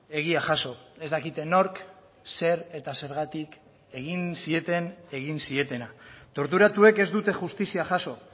egia jaso ez dakite nork zer eta zergatik egin zieten egin zietena torturatuek ez dute justizia jaso